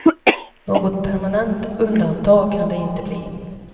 Något permanent undantag kan det inte bli.